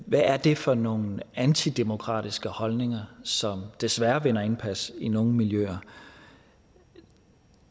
hvad er det for nogen antidemokratiske holdninger som desværre vinder indpas i nogle miljøer